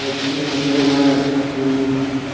мужчина напоминает мм